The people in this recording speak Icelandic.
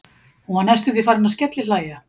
Hún var næstum því farin að skellihlæja.